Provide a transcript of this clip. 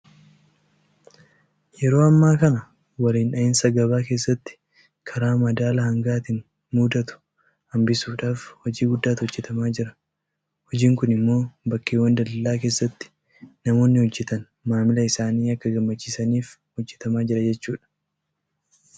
Yeroo ammaa kana waliin dhahinsa gabaa keessatti karaa madaala hangaatiin mudatu hanbisuudhaaf hojii guddaatu hojjetamaa jira. Hojiin kun immoo bakkeewwan daldalaa keessatti namoonni hojjetan maamila isaanii akka gammachiisaniif hejjetamaa jira jechuudha.